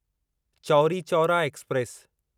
Chauri Chaura express